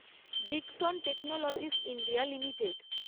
Dixon technologies India limited